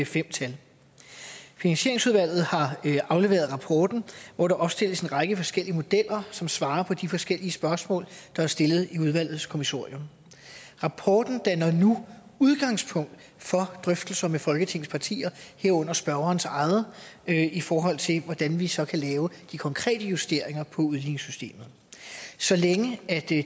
fem tal finansieringsudvalget har afleveret rapporten hvor der opstilles en række forskellige modeller som svarer på de forskellige spørgsmål der er stillet i udvalgets kommissorium rapporten danner nu udgangspunkt for drøftelser med folketingets partier herunder spørgerens eget i forhold til hvordan vi så kan lave de konkrete justeringer af udligningssystemet så længe